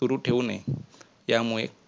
सुरु ठेवु नये त्यामुळे